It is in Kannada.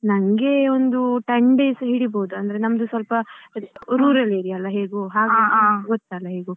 ನಂಗೆ ಒಂದು ten days ಹಿಡಿಬಹುದು ಅಂದ್ರೆ ನಮ್ದು ಸ್ವಲ್ಪ rural area ಅಲ್ಲ ಹೇಗೂ ಗೊತ್ತಲ್ಲ ಹೇಗೂ ಅದೇ ಸ್ವಲ್ಪ ಆಗ್ತದೆ.